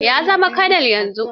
Ya zama kanal yanzu.